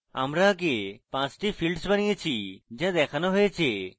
আমরা আগে পাঁচটি fields বানিয়েছি যা দেখানো হয়েছে